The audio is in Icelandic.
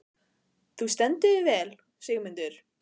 Þú stendur þig vel, Sigurmundur!